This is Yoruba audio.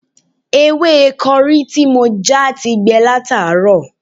Ewé kọrí tí mo já ti gbẹ látàárọ̀